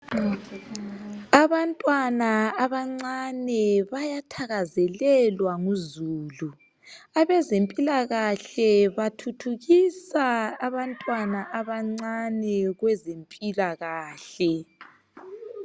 Abantwana abancane bayathakazelelwa nguzulu, abezempilakahle bathuthukisa abantwana abancane kwezempilakahle.